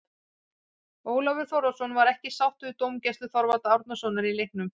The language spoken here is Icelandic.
Ólafur Þórðarson var ekki sáttur við dómgæslu Þorvaldar Árnasonar í leiknum.